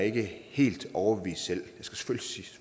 ikke helt overbevist selv